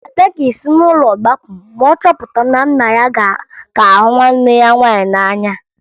Ada ga-esi n'ụlọ gbapụ ma ọ chọpụta na nna ya ka hụ nwanne ya nwaanyị n'anya